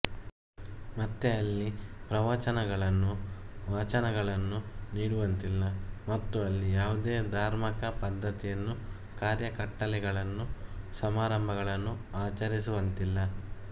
ಮತ್ತೆ ಅಲ್ಲಿ ಪ್ರವವಚನಗಳನ್ನು ವಾಚನಗಳನ್ನು ನೀಡುವಂತಿಲ್ಲ ಮತ್ತು ಅಲ್ಲಿ ಯಾವುದೇ ಧಾರ್ಮಕ ಪದ್ಧತಿಯನ್ನು ಕಾರ್ಯಕಟ್ಟಲೆಗಳನ್ನು ಸಮಾರಂಭಗಳನ್ನು ಆಚರಿಸುವಂತಿಲ್ಲ